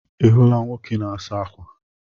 Ị hụrụ nwoke na-asa ákwà?